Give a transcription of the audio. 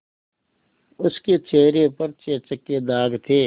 उसके चेहरे पर चेचक के दाग थे